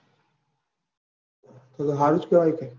તો તો હારું જ કેવાય ને.